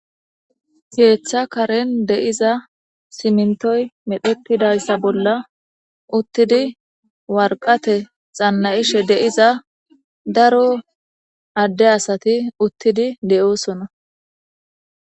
keeththa karen de7iza simintoy medhetidayssa bolla uttidi warqate xannayishe deiza daro adde asati uttidi de7oosona